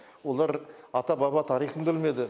олар ата баба тарихын білмеді